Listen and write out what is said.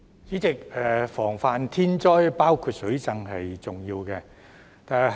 主席，防範天災，包括水浸，是十分重要的。